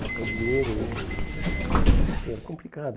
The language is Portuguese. Trocar o dinheiro aí era difícil, era complicado.